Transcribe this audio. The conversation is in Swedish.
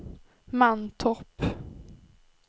Mantorp